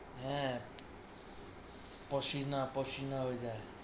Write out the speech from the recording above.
হ্যাঁ, ওটায়।